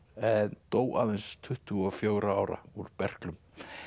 en dó aðeins tuttugu og fjögurra ára úr berklum